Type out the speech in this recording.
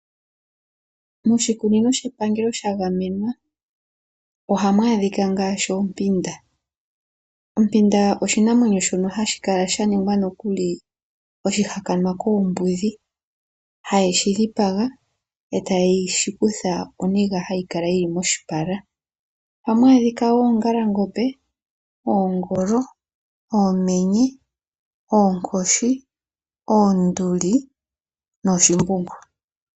Moshikunino shepangelo sha gamenwa ohamu adhika ngaashi oompanda. Ompanda oshinamwenyo shono hashi kala sha ningwa oshihakanwa koombudhi, haye shi dhipaga, e taye shi kutha oniga hayi kala yi li moshipala. Ohamu adhika oongalangombe, oongolo, oomenye, oonkoshi, oonduli nooshimbungu.